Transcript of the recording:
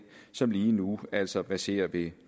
som lige nu altså verserer ved